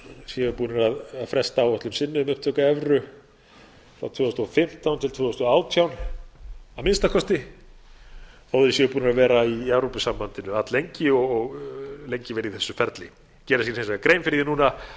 séu búnir að fresta áætlun sinni um upptöku evru frá tvö þúsund og fimmtán til tvö þúsund og átján að minnsta kosti þó þeir séu búnir að vera í evrópusambandinu alllengi og lengi verið í þessu ferli gera sér hins vegar grein fyrir því núna að þeir